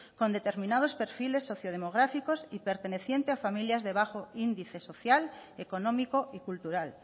con determinados perfiles socio demográficos y pertenecientes a familias de bajo índice social económico y cultural